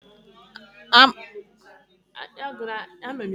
A ma-akọ ubi osikapa n'afọ ọzọ.